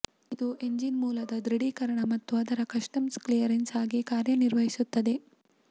ಇದು ಎಂಜಿನ್ ಮೂಲದ ದೃಢೀಕರಣ ಮತ್ತು ಅದರ ಕಸ್ಟಮ್ಸ್ ಕ್ಲಿಯರೆನ್ಸ್ ಆಗಿ ಕಾರ್ಯನಿರ್ವಹಿಸುತ್ತದೆ